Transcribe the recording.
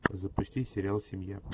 запусти сериал семья